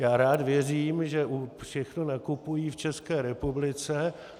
Já rád věřím, že všechno nakupují v České republice.